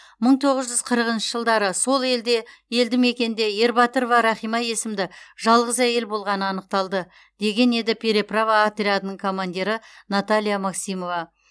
мің тоғыз жүз қырықыншы жылдары сол елде елді мекенде ербатырова рахима есімді жалғыз әйел болғаны анықталды деген еді переправа отрядының командирі наталья максимова